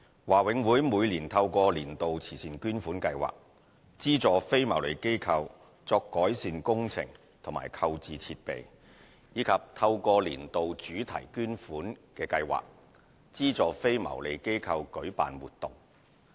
華永會每年透過"年度慈善捐款"計劃，資助非牟利機構作改善工程及購置設備，以及透過"年度主題捐款"計劃，資助非牟利機構舉辦活動。